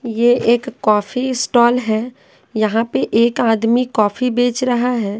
ये एक coffee stall है यहाँ पे एक आदमी कॉफी बेच रहा है।